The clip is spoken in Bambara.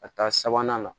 Ka taa sabanan la